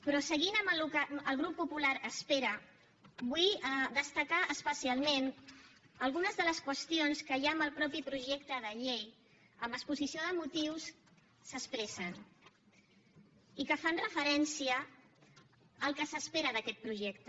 però seguint amb el que el grup popular espera vull destacar especialment algunes de les qüestions que hi ha en el mateix projecte de llei en l’exposició de motius s’expressen i que fan referència al que s’espera d’aquest projecte